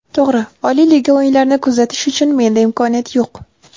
To‘g‘ri, oliy liga o‘yinlarini kuzatish uchun menda imkoniyat yo‘q.